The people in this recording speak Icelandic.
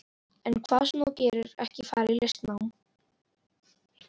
En hvað sem þú gerir, ekki fara í listnám.